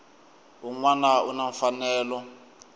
un wana u na mfanelo